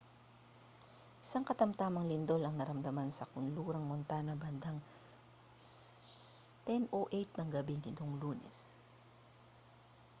isang katamtamang lindol ang naramdaman sa kanlurang montana bandang 10:08 ng gabi nitong lunes